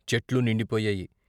చెట్లు నిండిపోయాయి.